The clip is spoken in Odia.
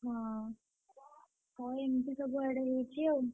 ହଁ, ହଁ ଏମତି ସବୁଆଡେ ହଉଛି ଆଉ।